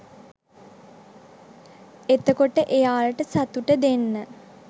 එතකොට එයාට සතුට දෙන්න